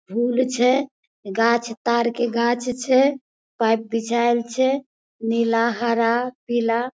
फूल छै गाछ तार के गाछ छै पाइप बिछाल छै नीला हरा पीला।